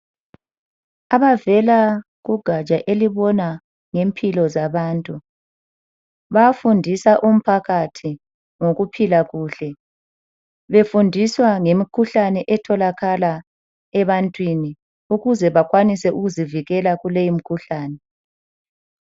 Abavela kugatsha elibona ngempilo zabantu, bayafundisa umphakathi ngokuphila kuhle. Befundiswa ngemikhuhlane etholakala ebantwini, ukuze bakwanise ukuzivikela kule imikhuhlane.